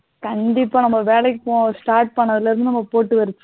கண்டிப்பா நம்ம வேலைக்கு போகலாம் start பண்ணதுல இருந்து போட்டு வச்சிருந்தா